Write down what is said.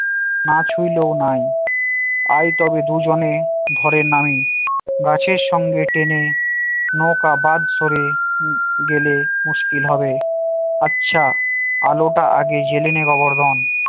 না ছুইলেও নয় আয় তবে দুজনে ধরে নামি গাছের সঙ্গে টেনে নৌকা বাদ সরে গেলে মুশকিল হবে, আচ্ছা। আলোটা আগে জেলে নেই গোবর্ধন